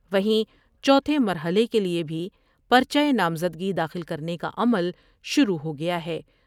وہیں چوتھے مرحلے کے لئے بھی پر چہ نامزدگی داخل کر نے کاعمل شروع و ہو گیا ہے ۔